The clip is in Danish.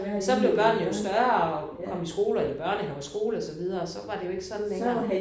Så blev børnene jo større og kom i skole og i børnehave og i skole og så videre så var det jo ikke sådan længere